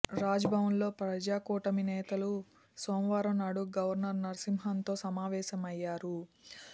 రాజ్భవన్లో ప్రజా కూటమి నేతలు సోమవారం నాడు గవర్నర్ నరసింహాన్తో సమావేశమయ్యారు